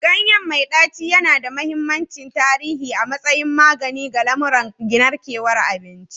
Ganye mai ɗaci yana da mahimmancin tarihi a matsayin magani ga lamuran narkewar abinci.